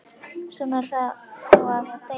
Svona er það þá að deyja.